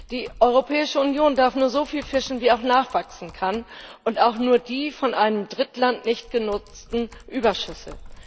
Die Europäische Union darf nur so viel fischen, wie auch nachwachsen kann, und auch nur die von einem Drittland nicht genutzten Überschüsse.